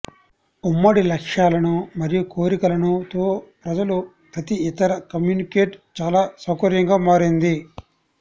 ఉమ్మడి లక్ష్యాలను మరియు కోరికలను తో ప్రజలు ప్రతి ఇతర కమ్యూనికేట్ చాలా సౌకర్యంగా మారింది